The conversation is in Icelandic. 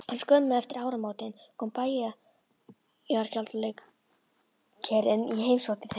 En skömmu eftir áramótin kom bæjargjaldkerinn í heimsókn til þeirra.